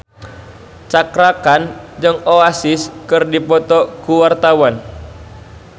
Cakra Khan jeung Oasis keur dipoto ku wartawan